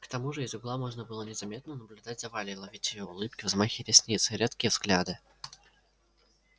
к тому же из угла можно было незаметно наблюдать за валей ловить её улыбки взмахи ресниц редкие взгляды